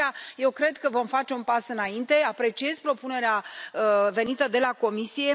De aceea, eu cred că vom face un pas înainte și apreciez propunerea venită de la Comisie.